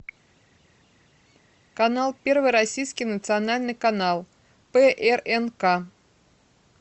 канал первый российский национальный канал прнк